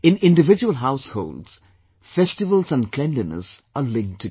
In individual households, festivals and cleanliness are linked together